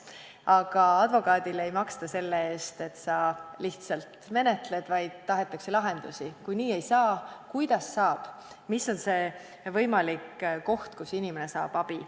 Aga advokaadile ei maksta selle eest, et sa lihtsalt menetled, vaid tahetakse lahendusi: kui nii ei saa, siis kuidas saab, mis on see võimalik koht, kus inimene saab abi.